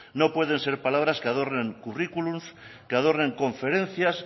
no pueden ser palabras que adornen currículos que adornen conferencias